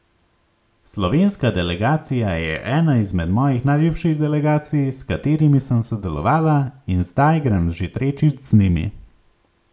Slovenska delegacija je ena izmed mojih najljubših delegacij, s katerimi sem sodelovala, in zdaj grem že tretjič z njimi.